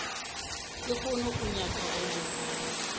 lehono o nyaka go mo